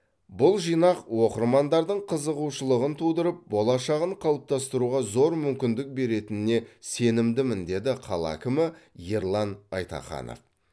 бұл жинақ оқырмандардың қызығушылығын тудырып болашағын қалыптастыруға зор мүмкіндік беретініне сенімдімін деді қала әкімі ерлан айтаханов